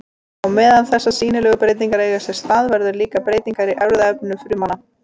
Á meðan þessar sýnilegu breytingar eiga sér stað verða líka breytingar í erfðaefni frumanna.